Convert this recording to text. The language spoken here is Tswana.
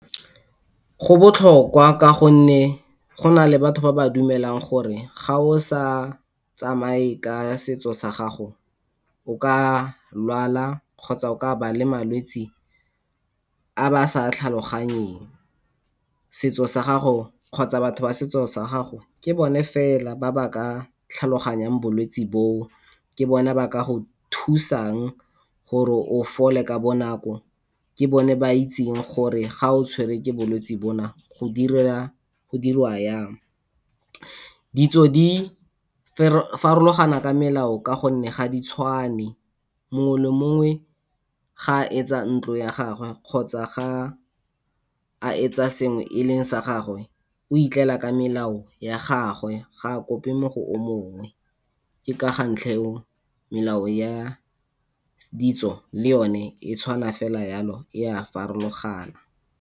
Go botlhokwa ka gonne gona le batho ba ba dumelang gore, ga o sa tsamaye ka setso sa gago o ka lwala kgotsa o ka nna le malwetse a ba sa tlhaloganyeng. Setso sa gago kgotsa batho ba setso sa gago, ke bone fela ba ba ka tlhaloganyang bolwetsi boo, ke bona ba ka go thusang gore o fole ka bonako, ke bone ba ba itseng gore ga o tshwere ke bolwetsi bona go diriwa yang. Ditso di farologana ka melao ka gonne ga di tshwane, mongwe le mongwe ga etsa ntlo ya gagwe kgotsa ga etsa sengwe e le sa gagwe o itlela ka melao ya gagwe, ga a kope mo go o mongwe, ke ka ga ntlha eo melao ya ditso le yone e tshwana fela yalo e a farologana.